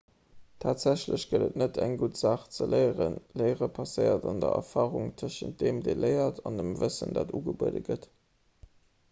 tatsächlech gëtt et net eng gutt saach ze léieren léiere passéiert an der erfarung tëschent deem dee léiert an dem wëssen dat ugebuede gëtt